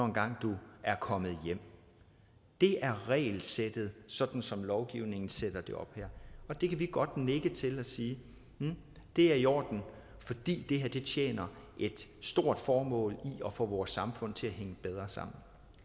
engang er kommet hjem det er regelsættet sådan som lovgivningen her sætter det op det kan vi godt nikke til og sige er i orden fordi det her tjener et stort formål i forhold at få vores samfund til at hænge bedre sammen